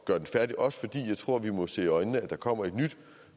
gøre det færdigt også fordi jeg tror vi må se i øjnene at der kommer et nyt